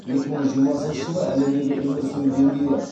екі мың жиырмасыншы жылы әлемдегі өмір сүру деңгейі